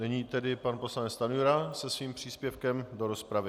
Nyní tedy pan poslanec Stanjura se svým příspěvkem do rozpravy.